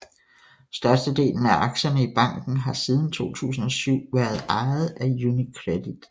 Størstedelen af aktierne i banken har siden 2007 været ejet af UniCredit